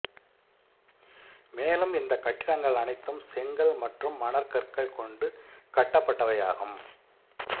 மேலும் இந்த கட்டிடங்கள் அனைத்தும் செங்கல் மற்றும் மணற்கற்கள் கொண்டு கட்டப்பட்டவையாகும்